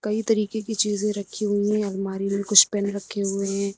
कई तरीके की चीजें रखी हुई हैं अलमारी में कुछ पेन रखे हुए हैं।